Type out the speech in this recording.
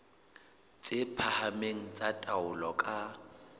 tse phahameng tsa taolo ka